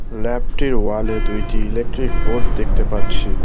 ল্যাবটির ওয়ালে দুইটি electric board দেখতে পাচ্ছি।